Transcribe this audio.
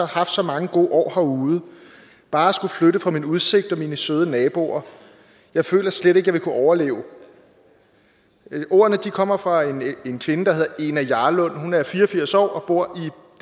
haft så mange gode år herude bare at skulle flytte fra min udsigt og mine søde naboer jeg føler slet ikke jeg ville kunne overleve det ordene kommer fra en kvinde der hedder ena jarland hun er fire og firs år og bor